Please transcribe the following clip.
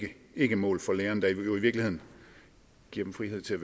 ikkemål for lærerne der jo i virkeligheden giver dem frihed til